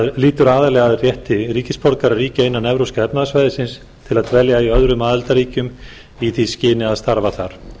lýtur aðallega að rétti ríkisborgara ríkja innan evrópska efnahagssvæðisins til að dvelja í öðrum aðildarríkjum í því skyni að starfa þar